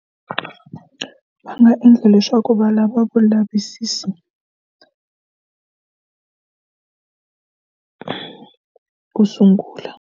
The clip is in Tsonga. Va nga endla leswaku valava vulavisisi ku sungula.